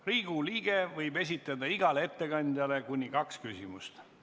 Riigikogu liige võib esitada igale ettekandjale kuni kaks küsimust.